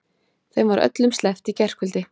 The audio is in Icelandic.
Þeim var öllum sleppt í gærkvöldi